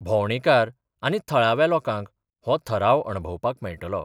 भोंवडेकार आनी थळाव्या लोकांक हो थराव अणभवपाक मेळटलो.